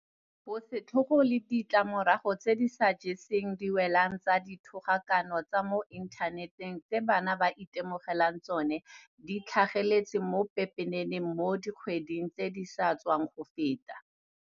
Bosetlhogo le ditlamorago tse di sa jeseng diwelang tsa dithogakano tsa mo inthaneteng tse bana ba itemogelang tsona di tlhageletse mo pepeneneng mo dikgweding tse di sa tswang go feta.